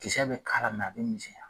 Kisɛ bɛ k'a la a bɛ misɛnya.